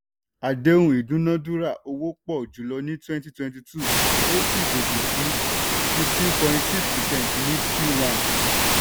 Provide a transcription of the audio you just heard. àdéhùn ìdúnádúrà owó pọ̀ jùlọ ní twenty twenty two ó sì gòkè sí fifteen point six percent ní q one.